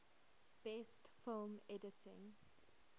best film editing